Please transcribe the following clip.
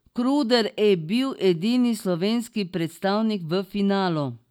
Kruder e bil edini slovenski predstavnik v finalu.